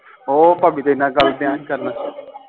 ਉਹ ਭਾਭੀ ਦੇ ਨਾਲ ਗੱਲ ਢਆ ਸੀ ਕਰਨ